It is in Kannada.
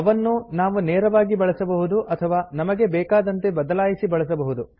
ಅವನ್ನು ನಾವು ನೇರವಾಗಿ ಬಳಸಬಹುದು ಅಥವಾ ನಮಗೆ ಬೇಕಾದಂತೆ ಬದಲಾಯಿಸಿ ಬಳಸಬಹುದು